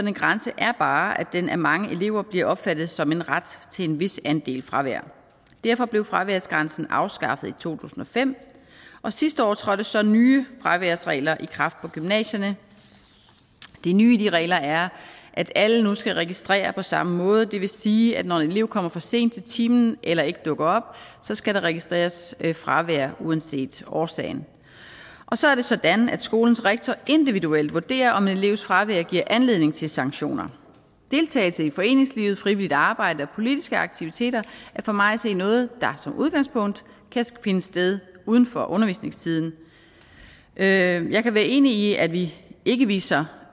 en grænse er bare at den af mange elever bliver opfattet som en ret til en vis andel fravær derfor blev fraværsgrænsen afskaffet i to tusind og fem og sidste år trådte så nye fraværsregler i kraft på gymnasierne det nye i de regler er at alle nu skal registrere på samme måde og det vil sige at når en elev kommer for sent til timen eller ikke dukker op skal der registreres fravær uanset årsagen og så er det sådan at skolens rektor individuelt vurderer om en elevs fravær giver anledning til sanktioner deltagelse i foreningslivet frivilligt arbejde og politiske aktiviteter er for mig at se noget der som udgangspunkt kan finde sted uden for undervisningstiden jeg jeg kan være enig i at vi ikke viser